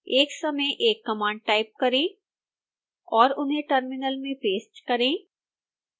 एक समय एक कमांड टाइप करें और उन्हें टर्मिनल में पेस्ट करें